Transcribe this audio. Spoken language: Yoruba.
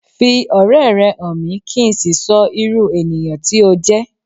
Fi ọ̀rẹ́ rẹ han mi, ki n sí sọ irú ènìyãn ti o jẹ́